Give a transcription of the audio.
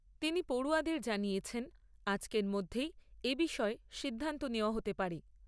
তিনি পড়ুয়াদের জানিয়েছেন, আজকের মধ্যেই এ বিষয়ে সিদ্ধান্ত নেওয়া হতে পারে।